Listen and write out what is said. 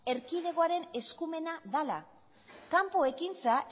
erkidegoaren eskumena dela kanpo ekintza